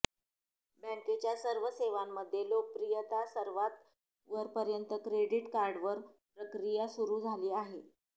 बँकेच्या सर्व सेवांमध्ये लोकप्रियता सर्वात वरपर्यंत क्रेडिट कार्डवर प्रक्रिया सुरू झाली आहे